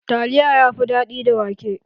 Taliya yafi daɗi da wake.